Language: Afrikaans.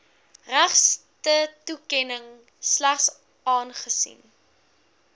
regtetoekenning slegs aangesien